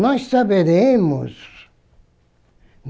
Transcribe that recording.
Nós saberemos.